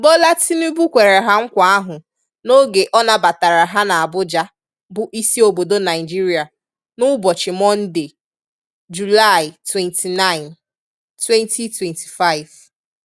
Bola Tinubu kwere ha nkwa ahụ n'oge ọ nabatara ha n'Abuja bụ isi obodo Naịjirịa n'ụbọchị Monde, Julaị 29, 2025.